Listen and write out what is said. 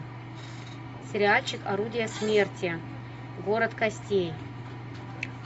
сериальчик орудие смерти город костей